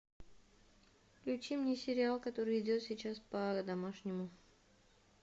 включи мне сериал который идет сейчас по домашнему